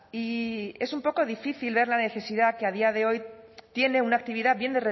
y es un poco difícil ver la necesidad que a día de hoy tiene una actividad bien